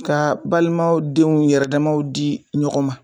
Ka balimaw denw yɛrɛ damaw di ɲɔgɔn ma